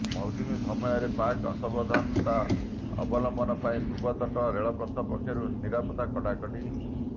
ମୌସୁମୀ ସମୟରେ ପ୍ରାକ୍ ସାବଧାନତା ଅବଲମ୍ବନ ପାଇଁ ପୂର୍ବତଟ ରେଳପଥ ପକ୍ଷରୁ ନିରାପତ୍ତା କଡ଼ାକଡ଼ି